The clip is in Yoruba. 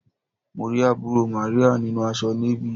Mo rí àbúrò Màríà nínu aṣọ Navy.